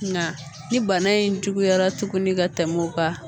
Nga ni bana in juguyara tuguni ka tɛm'o kan